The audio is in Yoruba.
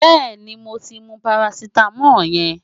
Bẹ́ẹ̀ni, mo ti mu parasítámọ̀ yẹn.